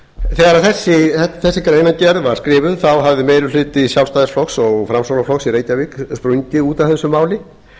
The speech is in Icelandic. þegar að þessi greinargerð var skrifuð á hafði meiri hluti sjálfstæðisflokks og framsóknarflokks í reykjavík sprungið út af því máli